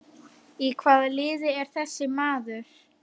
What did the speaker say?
Í hvaða liði er þessi maður?